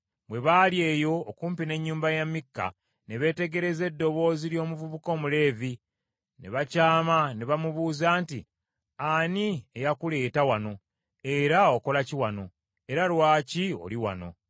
Bwe baali eyo okumpi n’ennyumba ya Mikka ne beetegereza eddoboozi ly’omuvubuka Omuleevi, ne bakyama ne bamubuuza nti, “Ani eyakuleeta wano? Era okola ki wano? Era lwaki oli wano?”